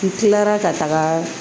N kilara ka taga